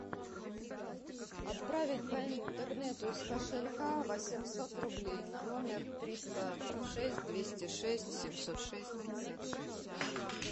отправить по интернету из кошелька восемьсот рублей на номер триста шесть двести шесть семьсот шесть пятьдесят шесть